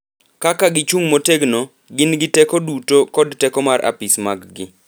Kaka gichung’ motegno, gin gi teko duto kod teko mar Apis maggi